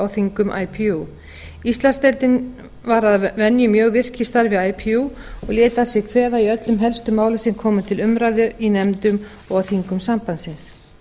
þingum ipu íslandsdeildin var að venju mjög virk í starfi ipu og lét að sér kveða í öllum helstu málum sem koma til umræðu í nefndum og á þingum sambandsins ég